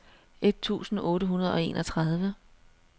et tusind otte hundrede og enogtredive